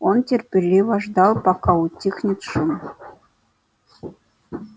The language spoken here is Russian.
он терпеливо ждал пока утихнет шум